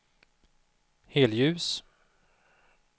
helljus